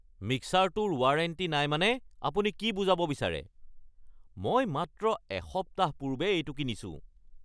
মিক্সাৰটোৰ warranty নাই মানে আপুনি কি বুজাব বিচাৰে? মই মাত্ৰ এসপ্তাহ পূৰ্বে এইটো কিনিছো!